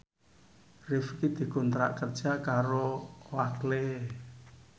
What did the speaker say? Rifqi dikontrak kerja karo Oakley